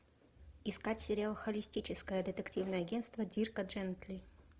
искать сериал холистическое детективное агентство дирка джентли